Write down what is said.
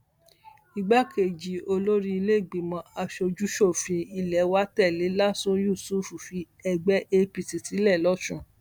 igbákejì olórí ìlèégbìmọ asojúṣòfin ilé wa tẹlẹ lásun yusuf fi ẹgbẹ apc sílẹ lọsùn